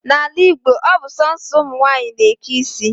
N'ala Igbo, ọ bụ sọọsọ ụmụnwaanyị na-eke isi